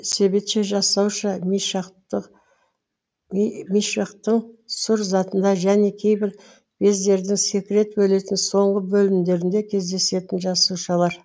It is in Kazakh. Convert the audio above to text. себетше жасауша мишақтың сұр затына және кейбір бездердің секрет бөлетін соңғы бөлімдерінде кездесетін жасушалар